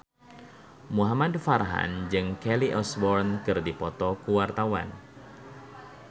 Muhamad Farhan jeung Kelly Osbourne keur dipoto ku wartawan